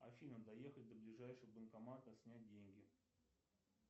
афина доехать до ближайшего банкомата снять деньги